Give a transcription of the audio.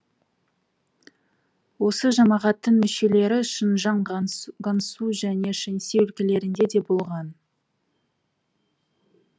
осы жамағаттың мүшелері шынжаң гансу және шэнси өлкелерінде де болған